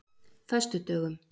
föstudögum